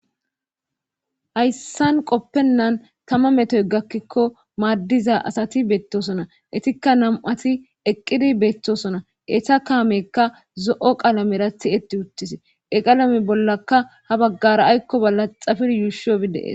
hayssan qoppennan tama metoy gakkikko maaddiza asati beettosona etikka nam'ati eqqidi beettosona eta kaamekka zo'o qalamera tihetti uttis he qalame bollaka ha baggara aykkoba laxafir yuushobi deees